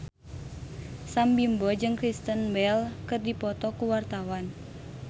Sam Bimbo jeung Kristen Bell keur dipoto ku wartawan